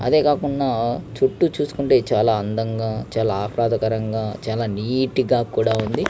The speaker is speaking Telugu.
అంతే కాకూడ చూతు చూసుకుంటే చాల అందం గ చాల ఆహ్లాదకరంగా చాల నీట్ గ కూడా ఉంది.